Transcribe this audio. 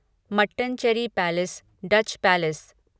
Mattancherry palace Dutch palace